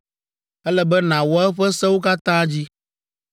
Ele be nàwɔ eƒe sewo katã dzi.